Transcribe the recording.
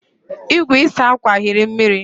igwe ịsa akwa hiri mmiri